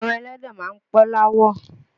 Ẹran ẹlẹ́dẹ̀ máa ń pọ́n l'áwọ̀